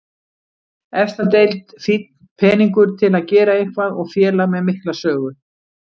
Efsta deild, fínn peningur til að gera eitthvað og félag með mikla sögu.